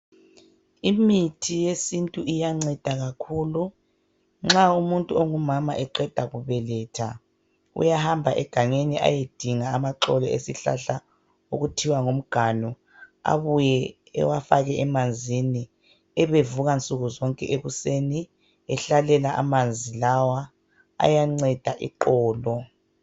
Imithi yesintu iyanceda kakhulu. Nxa umuntu ongumama eqeda kubeletha, uyahamba egangeni ayedinga amaxolo esihlahla okuthiwa ngumganu abuye ewafake emanzini ebevuka nsuku zonke ekuseni ehlalela amanzi lawa. Ayanceda iqolo.